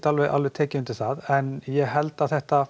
tek undir það en ég held að þetta